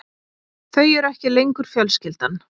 Þau eru ekki lengur fjölskyldan.